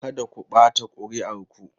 Kada ku ɓata kuri'ar ku!